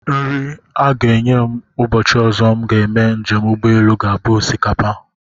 Nri a ga-enye m ụbọchị ọzọ m ga-eme njem ụgbọelu ga-abụ osikapa